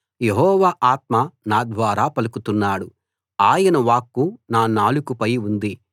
యెహోవా ఆత్మ నా ద్వారా పలుకుతున్నాడు ఆయన వాక్కు నా నాలుకపై ఉంది